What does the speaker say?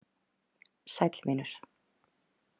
Sæll, vinur.